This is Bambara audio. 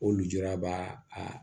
O lujura b'a a